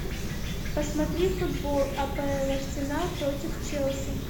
посмотри футбол апл арсенал против челси